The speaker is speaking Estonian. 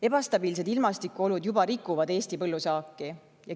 Ebastabiilsed ilmastikuolud juba rikuvad Eesti põllusaaki.